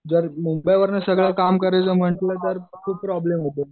जर मिन्द्यावरन सगळं काम करायचं म्हणलं तर ते प्रॉब्लम होतो.